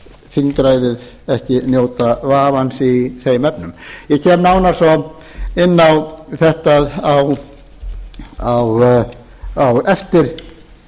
þingræðið ekki njóta vafans í þeim efnum ég kem nánar svo inn á þetta á eftir